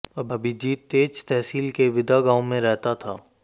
अभिजीत तेज तहसील के वीदा गांव में रहता था